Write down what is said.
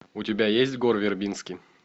у тебя есть гор вербински